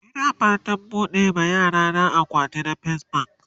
Ina fatan buɓuɗe ma yarana akawunt a fes bank